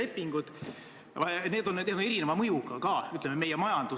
Sihtgrupi mitteinformeerimine, mittekaasamine ei saa kuidagi olla põhjendatud.